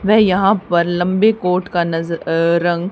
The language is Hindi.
वह यहां पर लंबे कोर्ट का नज अ रंग--